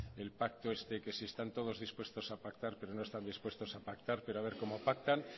el pacto este que sí están todos dispuestos a pactar pero no están dispuestos a pactar pero a ver cómo pactan